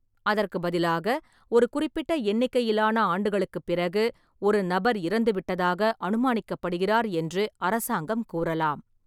அதற்கு பதிலாக, ஒரு குறிப்பிட்ட எண்ணிக்கையிலான ஆண்டுகளுக்குப் பிறகு, ஒரு நபர் இறந்துவிட்டதாக "அனுமானிக்கப்படுகிறார்" என்று அரசாங்கம் கூறலாம்.